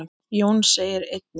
Jón segir einnig